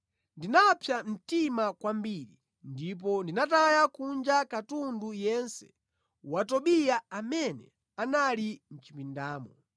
Ndinapsa mtima kwambiri ndipo ndinataya kunja katundu yense wa Tobiya amene anali mʼchipindamo.